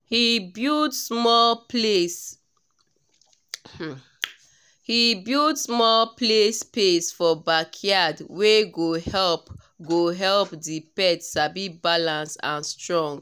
he build small play space for backyard wey go help go help the pet sabi balance and strong well